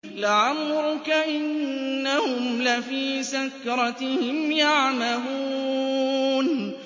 لَعَمْرُكَ إِنَّهُمْ لَفِي سَكْرَتِهِمْ يَعْمَهُونَ